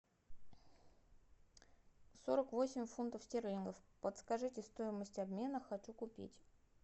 сорок восемь фунтов стерлингов подскажите стоимость обмена хочу купить